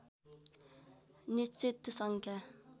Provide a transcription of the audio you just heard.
निश्चित सङ्ख्या